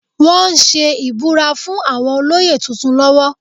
Wọ́n ń ṣe ìbúra fún àwọn olóyè tuntun lọ́wọ́